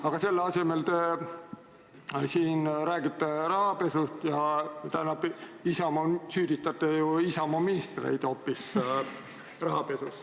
Aga selle asemel te siin räägite rahapesust ja süüdistate Isamaa ministreid hoopis rahapesus.